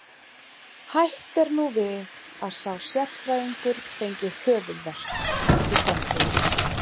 Hætt er nú við að sá sérfræðingur fengi höfuðverk í framtíðinni.